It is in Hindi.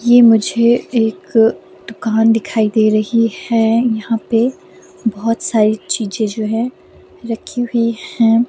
ये मुझे एक दुकान दिखाई दे रही है यहां पे बहुत सारी चीजें जो हैरखी हुई है।